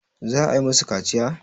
za a yi musu kaciya?